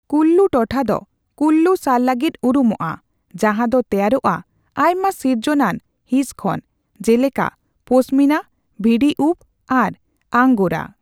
ᱠᱩᱞᱞᱩ ᱴᱚᱴᱷᱟ ᱫᱚ ᱠᱩᱞᱞᱩ ᱥᱟᱞ ᱞᱟᱹᱜᱤᱫ ᱩᱨᱩᱢᱚᱜᱼᱟ, ᱡᱟᱦᱟᱸ ᱫᱚ ᱛᱮᱭᱟᱨᱚᱜᱼᱟ ᱟᱭᱢᱟ ᱥᱤᱨᱡᱚᱱᱟᱱ ᱦᱤᱸᱥ ᱠᱷᱚᱱ ᱡᱮᱞᱮᱠᱟ ᱯᱚᱥᱢᱤᱱᱟ, ᱵᱷᱤᱰᱤ ᱩᱯᱽ ᱟᱨ ᱟᱝᱜᱳᱨᱟ ᱾